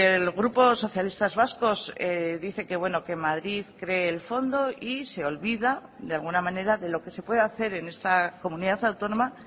el grupo socialistas vascos dice que bueno que madrid cree el fondo y se olvida de alguna manera de lo que se puede hacer en esta comunidad autónoma